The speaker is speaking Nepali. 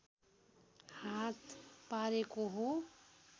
हात पारेको हो